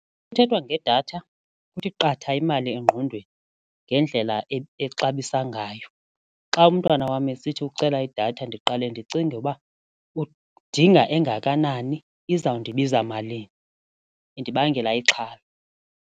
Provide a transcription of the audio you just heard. Xa kuthethwa ngedatha kuthi qatha imali engqondweni ngendlela exabiso ngayo. Xa umntwana wam esithi ucela idatha ndiqale ndicinge uba udinga engakanani iza kundibiza malini, indibangela ixhala.